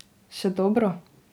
Še dobro!